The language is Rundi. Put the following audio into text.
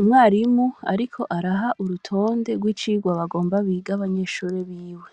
Umwarimu ariko araha urutonde rw'icirwa bagomba bige abanyeshure biwe,